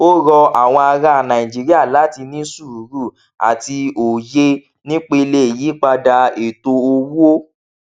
ó rọ àwọn ará nàìjíríà láti ní sùúrù àti òye nípele ìyípadà ètò owó